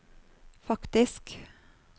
faktisk